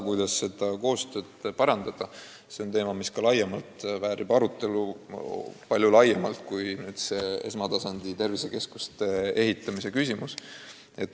Kuidas seda koostööd parandada, on teema, mis väärib palju laiemat arutelu kui see esmatasandi tervisekeskuste ehitamine.